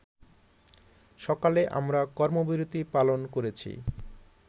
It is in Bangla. সকালে আমরা কর্মবিরতী পালন করেছি